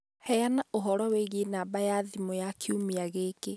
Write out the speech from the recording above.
Heana ũhoro wĩgiĩ namba ya thimũ ya kiumia gĩkĩ